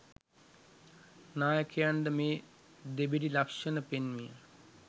නායකයන්ද මේ දෙබිඩි ලක්‍ෂණ පෙන්විය